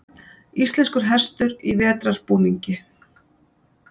Íslenskur hestur í vetrarbúningi.